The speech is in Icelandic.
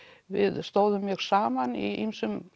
við stóðum mjög saman í ýmsum